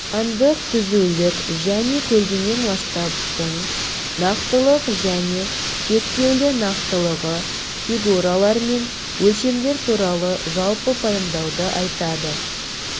сандық түзулік және көлденең масштабтың нақтылық және шектеулі нақтылығы фигуралар мен өлшемдер туралы жалпы пайымдауды айтады